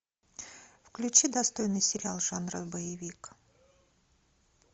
включи достойный сериал жанра боевик